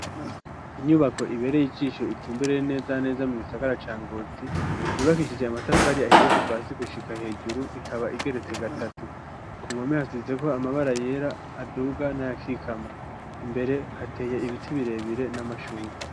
Inyubako ibereye ijisho itumbereye neza neza mu gisagara ca Ngozi yubakishije amatafari ahiye kuva hasi gushika hejuru ikaba igeretse gatatu. Ku mpome hasizeko amabara yera aduga n'ayakikama imbere hateye ibiti birebire n'amashurwe.